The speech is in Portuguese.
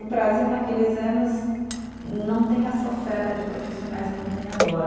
O Brasil naqueles anos não tem essa oferta de profissionais como tem agora.